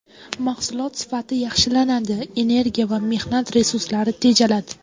Mahsulot sifati yaxshilanadi, energiya va mehnat resurslari tejaladi.